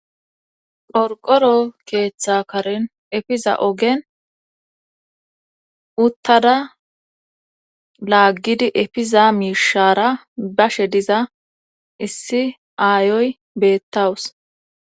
Qorqqoro keetha karen efiza ogen uttada laaggidi efiza miishara bashe diza issi aayiya beetaws